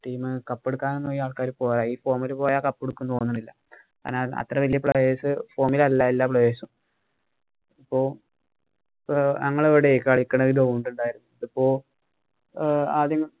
team cup എടുക്കാനൊന്നും ഈ ആള്‍ക്കാര് പോരാ. ഈ form ഇല് പോയാ cup എടുക്കൂന്നു തോന്നണില്ല. അതിനാല്‍ അത്ര വലിയ player'sform ഇല്‍ അല്ല എല്ലാ player's ഉം പ്പൊ ഞങ്ങടെ അവിടെ കളിക്കണതിലെ ആഹ് ആദ്യം